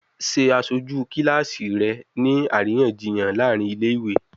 Ṣe aṣoju kilasi rẹ ni ariyanjiyan laarin ile-iwe!